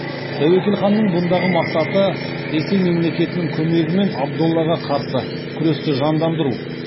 тәуекел ханның бұндағы мақсаты ресей мемлекетінің көмегімен абдоллаға қарсы күресті жандандыру